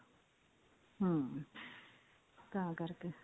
ਹਮ ਤਾਂ ਕਰਕੇ